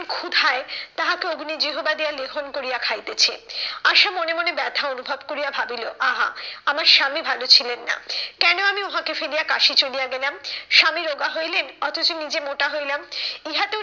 ক্ষুধায় তাহাকে অগ্নিজিহ্বা দিয়া লেহন করিয়া খাইতেছে। আশা মনে মনে ব্যথা অনুভব করিয়া ভাবিলো আহা আমার স্বামী ভালো ছিলেন না। কেন আমি উহাকে ফেলিয়া কাশি চলিয়া গেলাম? স্বামী রোগা হইলেন অথচ নিজে মোটা হইলাম ইহাতে